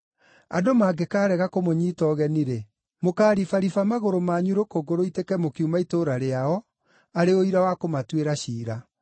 Andũ mangĩkaarega kũmũnyiita ũgeni-rĩ, mũkaaribariba magũrũ manyu rũkũngũ rũitĩke mũkiuma itũũra rĩao arĩ ũira wa kũmatuĩra ciira.”